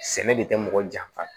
Sɛnɛ de kɛ mɔgɔ janfa ye